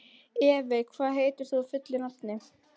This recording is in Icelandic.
Evey, hvað heitir þú fullu nafni?